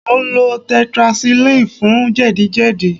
Mò ń lo tetracycline fún jẹ̀díjẹ̀dí